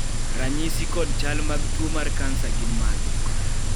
ranyisi kod chal mag tuo mar kansa gin mage?